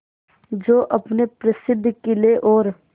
जो अपने प्रसिद्ध किले और